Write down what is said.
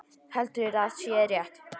Heldur að sé rétt.